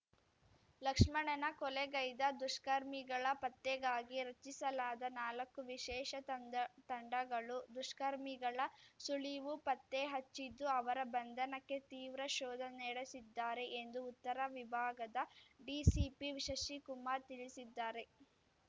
ಲಕ್ಷ್ಮಣನ ಕೊಲೆಗೈದ ದುಷ್ಕರ್ಮಿಗಳ ಪತ್ತೆಗಾಗಿ ರಚಿಸಲಾದ ನಾಲಕ್ಕು ವಿಶೇಷ ತಂಡಗಳು ದುಷ್ಕರ್ಮಿಗಳ ಸುಳಿವು ಪತ್ತೆ ಹಚ್ಚಿದ್ದು ಅವರ ಬಂಧನಕ್ಕೆ ತೀವ್ರ ಶೋಧ ನಡೆಸಿದ್ದಾರೆ ಎಂದು ಉತ್ತರ ವಿಭಾಗದ ಡಿಸಿಪಿ ಶಶಿಕುಮಾರ್ ತಿಳಿಸಿದ್ದಾರೆ